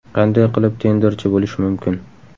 Qanday qilib tenderchi bo‘lish mumkin?